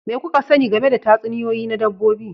Me kuka sani game da tatsuniyoyi na dabbobi